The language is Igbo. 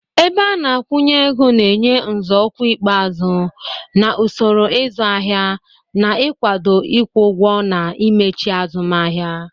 Ebeana-akwụnyeego na-enye nzọụkwụ ikpeazụ na usoro ịzụ ahịa, na ikwado ịkwụ ụgwọ na imechiazumahia.